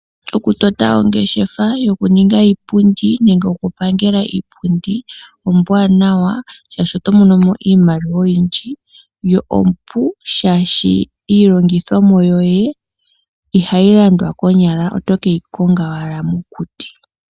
Okutota ongeshefa yokuninga iipundi nenge okupangela iipundi ombwaanawa, shaashi oto mono mo iimaliwa oyindji yo ompu shaashi iilongithomwa yoye ihayi landwa, konyala oto ke yi konga owala mokuti.